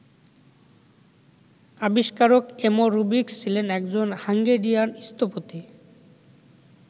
আবিষ্কারক Erno Rubik's ছিলেন একজন হাঙ্গেরিয়ান স্থপতি।